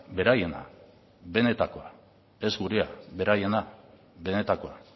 beraiena benetakoa ez gurea beraiena benetakoa